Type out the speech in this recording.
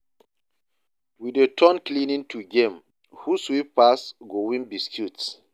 We dey turn cleaning to game, who sweep pass go win biscuit.